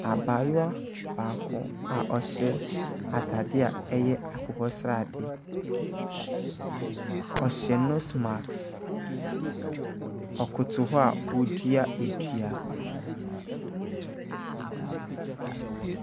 Abaayewa baako a ɔhyɛ ataadeɛ a ɛyɛ akokɔsradeɛ, ɔhyɛ nose mask, ɔkoto hɔ a ɔredua dua.